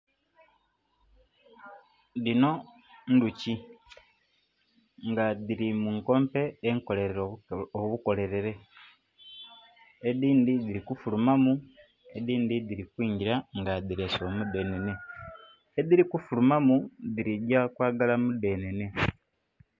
Dhino ndhoki nga dhili mu nkompe enkolere obukolere edinhi dhili kufuruma edindhi dhili kwingila nga dhilese omu dhenene. Edhili ku furuma mu dhili gya kwaagala mu dhenene.